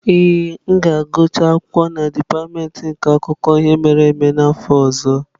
Ee, m ga-agụcha akwụkwọ na dipatịmentị nke akụkọ ihe mere eme n'afọ ọzọ.